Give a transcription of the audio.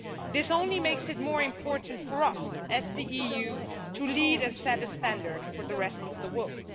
This only makes it more important for us, as the EU, to lead and set a standard for the rest of the world.